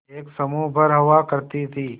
एक समूह भर हुआ करती थी